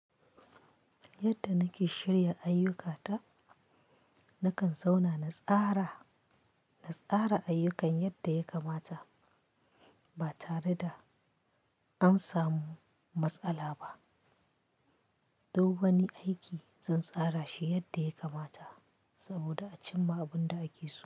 Yadda nake shirya ayyukata, nakan zauna na tsara, na tsara ayyukan yadda ya kamata ba tare da an samu matsala ba. Duk wani aiki zan tsara shi yadda ya kamata saboda a cimma abin da ake so.